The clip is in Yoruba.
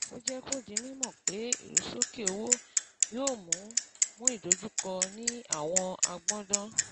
Ó jẹ́ kó di mímọ̀ pé ìrusókè owó yóò mú mú ìdojúkọ ní àwọn agbọndan.